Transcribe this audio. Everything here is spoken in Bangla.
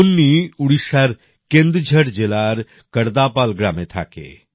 কুন্নী উড়িষ্যার কেন্দুঝর জেলার কর্দাপাল গ্রামে থাকে